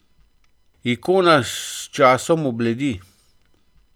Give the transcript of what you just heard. Ikona s časom obledi.